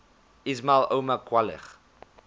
ismail omar guelleh